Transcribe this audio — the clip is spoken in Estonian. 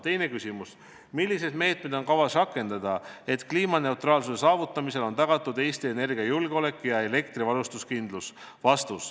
Teine küsimus on, milliseid meetmeid on kavas rakendada, et kliimaneutraalsuse saavutamisel on tagatud Eesti energiajulgeolek ja elektrivarustuskindlus.